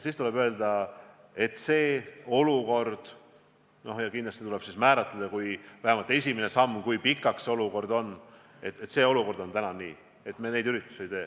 Siis tuleb öelda – kindlasti tuleb määratleda vähemalt esimene samm, kui pikalt see olukord kestab –, et olukord on täna selline, et me neid üritusi ei tee.